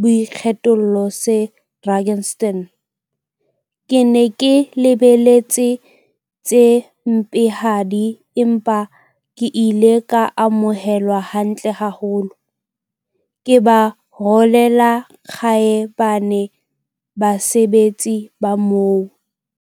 boikgethollo se Drakenstein. Ke ne ke lebeletse tse mpehadi, empa ke ile ka amohelwa hantle haholo. Ke ba rolela kgaebane basebetsi ba moo!